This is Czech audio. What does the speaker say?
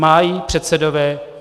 Mají předsedové -